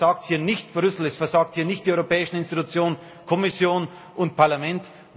Es versagt hier nicht Brüssel, es versagen hier nicht die Europäischen Institutionen, Kommission und Parlament.